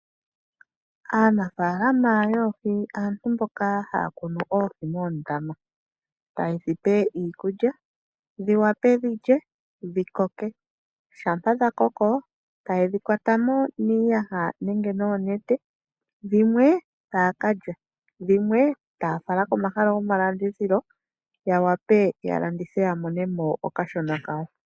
Aanafaalama yoohi aantu mboka haya kunu oohi moondama taye dhi pe iikulya dhi wape dhi lye dhi koke. Shampa dha koko taye dhi kwata mo niiyaha nenge noonete. Dhimwe taya ka lya, dhimwe taya fala komahala gomalandithilo ya wape ya landithe ya mone mo okashona kawo.